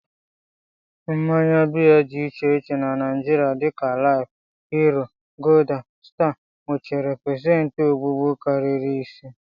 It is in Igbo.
Mmanya beer dị iche iche na Naijiria dịka life, hero, gulder, star, nwechara pesenti ogbugbu karịrị ise